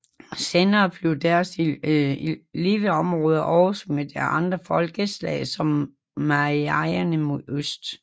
Senere blev deres leveområder oversvømmet af andre folkeslag som mayaerne mod øst